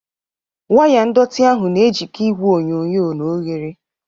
Waya ndọtị ahụ na-ejikọ igwe onyonyo na oghere